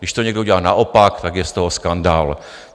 Když to někdo udělá naopak, tak je z toho skandál.